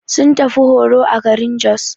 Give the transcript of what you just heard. Sun tafi horo a garin Jos.